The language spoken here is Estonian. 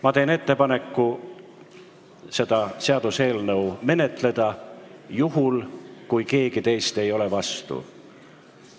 Ma teen ettepaneku seda seaduseelnõu menetleda juhul, kui keegi teist ei ole vastu.